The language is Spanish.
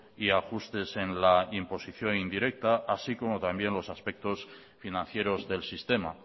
y ajustes en la imposición indirecta así como también los aspectos financieros del sistema